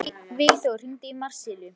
Vígþór, hringdu í Marsilíu.